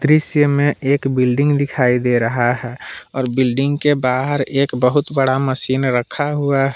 दृश्य में एक बिल्डिंग दिखाई दे रहा है और बिल्डिंग के बाहर एक बहुत बड़ा मशीन रखा हुआ है।